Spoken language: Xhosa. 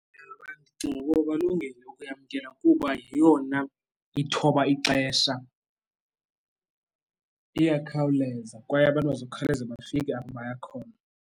Ewe, ndicinga ukuba balungile ukuyamkela kuba yeyona ithoba ixesha iyakhawuleza kwaye abantu bazawukhawuleze bafike apho baya khona.